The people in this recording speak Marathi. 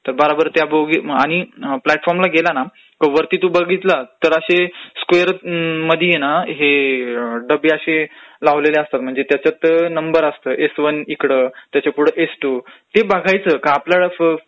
तर बराबर त्या बोगीत आणि प्लॅटफॉर्मला गेला ना की वरती तू बघितलं तर असे स्केअरमदी हे ना डबे असे लावलेले असतात म्हणजे ज्याच्यात नंबर असतो एस वन इकडं त्याच्यापुढं एस टू ते बघायचं का आपली